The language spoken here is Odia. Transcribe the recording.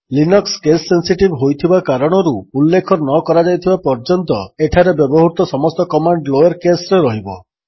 ଲିନକ୍ସ କେସ୍ ସେନ୍ସିଟିଭ୍ ହୋଇଥିବା କାରଣରୁ ଉଲ୍ଲେଖ ନକରାଯାଇଥିବା ପର୍ଯ୍ୟନ୍ତ ଏଠାରେ ବ୍ୟବହୃତ ସମସ୍ତ କମାଣ୍ଡ୍ ଲୋୟର୍ କେସ୍ ରେ ରହିବ